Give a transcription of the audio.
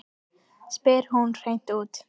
spyr hún hreint út.